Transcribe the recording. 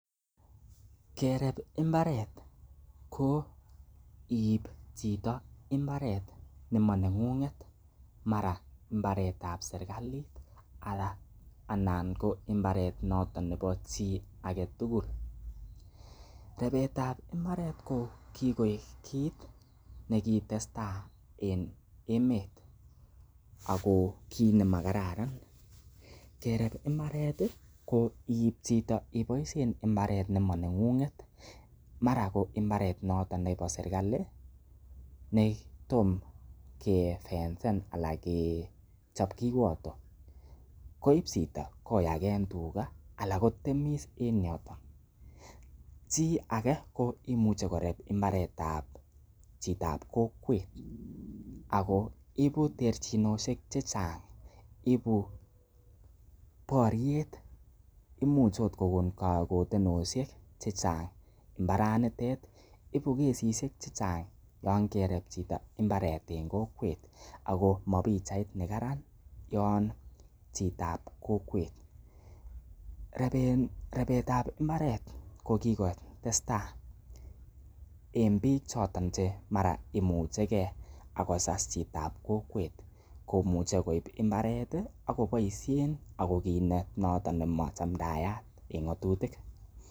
Kerep mbaret ko iiib chito mbaret nemaneng'ung'et mara mbaret ab serkalit anan ko mbaret noton nebo chi agetugul ripetab mbaret ko kigoik kit nekigotestai en emet ago kiit nemakararan. Kerep mbaret ko ib chito mbaret nemoneng'ung'et. Mara ko imbarte noton nebo serkalit netom kefencen anan kechop kiwoto, koib chito koyaken tuga anan kotmeis. Chi age koimuche korep mbaret ab chitab kokwet ago ibu terchinosiek che chang ibu boryet imuchot kogon kagotensosiek che chang mbaranitet ibu kesisiek che chang yon kerep chito mbaret en kokwet ago moibu pichait nekaran yon chitab kokwet. Repet ab mbaret ko kigotestai en biik choton che mara imuche ge ak kosas chitab kokwet komuche koib mbaret ak koboisien ago kiit noton nemachamdaat en ng'atutik.